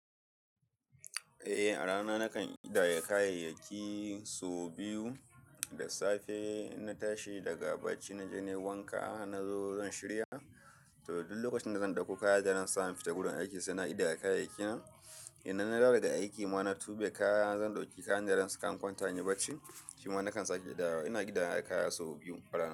Eh, a rana nakan kidaya kayayyaki so biyu. Da safe inna tashi daga bacci naje na yi wanka na zo zan shirya. To duk lokacin da zan ɗauko kaya daran sa, na fita gurin aiki sai na kidaya kayayyakina. Idan na dawo daga aiki ma na tube kaya zan ɗauki kayan daran saka in kwanta inyi bacci. Shima nakan sake idayawa. Ina kidaya kaya sau biyu a rana.